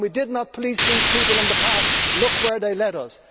When we did not police these people in the past, look where they led us.